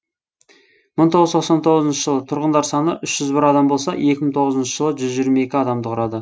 мың тоғыз жүз тоқсан тоғызыншы жылы тұрғындар саны үш жүз бір адам болса екі мың тоғызыншы жылы жүз жиырма екі адамды құрады